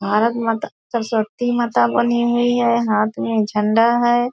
भारत माता सरस्वती माता बनी हुई है हाथ में झंडा है।